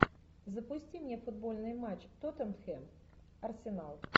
запусти мне футбольный матч тоттенхэм арсенал